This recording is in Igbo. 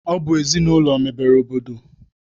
Ọ bụ ezinaụlọ mebere obodo